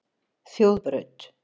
Þjóðbraut